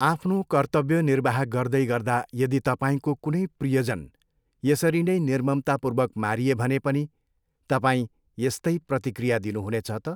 आफ्नो कर्तव्य निर्वाह गर्दैगर्दा यदि तपाईँको कुनै प्रियजन यसरी नै निर्ममतापूर्वक मारिए भने पनि तपाईँ यस्तै प्रतिक्रिया दिनुहुनेछ त?